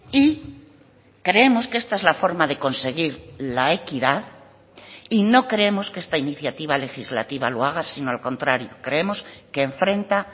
y creemos que esta es la forma de conseguir la equidad y no creemos que esta iniciativa legislativa lo haga sino al contrario creemos que enfrenta